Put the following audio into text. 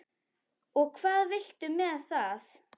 Og hvað viltu með það?